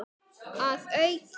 Að auki